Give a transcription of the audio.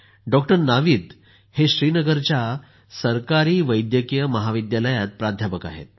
doctor Navid हे श्रीनगरच्या सरकारी वैद्यकीय महाविद्यालयात प्राध्यापक आहेत